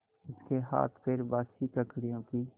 उसके हाथपैर बासी ककड़ियों की